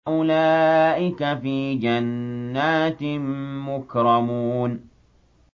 أُولَٰئِكَ فِي جَنَّاتٍ مُّكْرَمُونَ